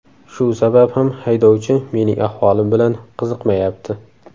Shu sabab ham haydovchi mening ahvolim bilan qiziqmayapti.